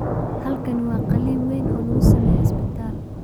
Habkani waa qaliin weyn oo lagu sameeyo isbitaal.